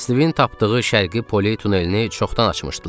Stivin tapdığı Şərqi Poley tunelini çoxdan açmışdılar.